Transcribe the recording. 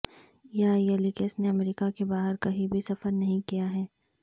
یا یلیکس نے امریکہ کے باہر کہیں بھی سفر نہیں کیا ہے